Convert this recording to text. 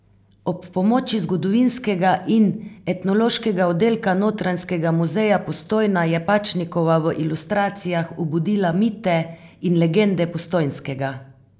Ob pomoči zgodovinskega in etnološkega oddelka Notranjskega muzeja Postojna je Pačnikova v ilustracijah obudila mite in legende Postojnskega.